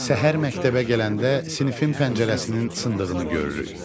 Səhər məktəbə gələndə sinifin pəncərəsinin sındığını görürük.